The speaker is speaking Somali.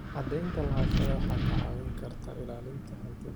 Cadaynta lahaanshaha waxay kaa caawin kartaa ilaalinta hantida.